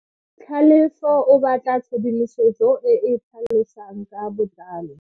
Tlhalefo o batla tshedimosetso e e tlhalosang ka botlalo.